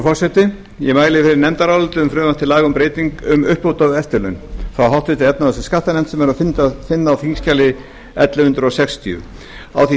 forseti ég mæli fyrir nefndaráliti um frumvarp til laga um uppbót á eftirlaun frá háttvirtri efnahags og skattanefnd sem er að finna á þingskjali ellefu hundruð sextíu á því